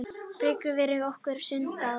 Birgir, ferð þú með okkur á sunnudaginn?